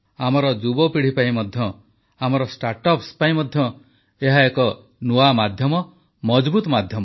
ଆମର ଯୁବପିଢ଼ି ପାଇଁ ମଧ୍ୟ ଆମର ଷ୍ଟାର୍ଟଅପ୍ସ ପାଇଁ ମଧ୍ୟ ଏହା ଏକ ନୂଆ ମାଧ୍ୟମ ମଜଭୁତ ମାଧ୍ୟମ